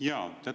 Jaa!